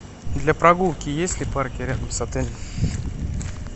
для прогулки есть ли парки рядом с отелем